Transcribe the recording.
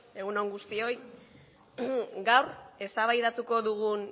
egun on guztioi gaur eztabaidatuko dugun